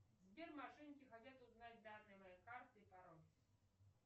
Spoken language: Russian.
сбер мошенники хотят узнать данные моей карты и пароль